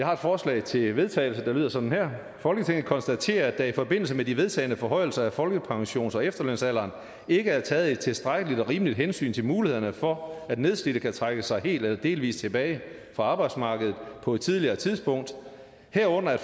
har et forslag til vedtagelse der lyder sådan her folketinget konstaterer at der i forbindelse med de vedtagne forhøjelser af folkepensions og efterlønsalderen ikke er taget et tilstrækkeligt og rimeligt hensyn til mulighederne for at nedslidte kan trække sig helt eller delvis tilbage fra arbejdsmarkedet på et tidligere tidspunkt herunder